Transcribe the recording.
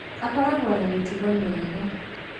Akoragũo na mĩtugo mĩega